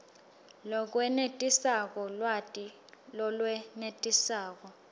lokwenetisako lwati lolwenetisako